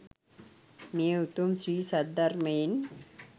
මේ උතුම් ශ්‍රී සද්ධර්මයෙන්